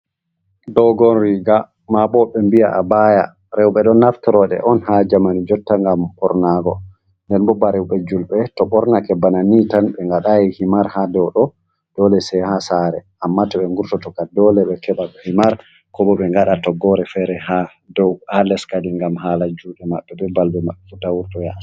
Dogon riga mabo be bi'a abaya rowɓe don naftorode on ha jamani jotta ngam bornago, nden bo baroube julbe to bornake bana ni tan be ngadayi himar hado do dole sai ha sare amma to ɓe vurto tokka dole be keba himar ko bo ɓe ngada toggore fere ha leskadi ngam hala jude mabɓe bo balbefu tavurta yasi.